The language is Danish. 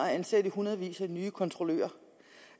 at ansætte i hundredvis af nye kontrollører